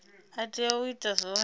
a tea u ita zwone